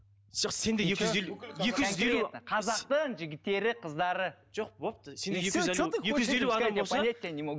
жоқ сенде екі жүз елу екі жүз елу қазақтың жігіттері қыздары жоқ болыпты